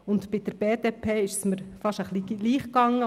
Bei der BDP ist es mir fast gleich gegangen.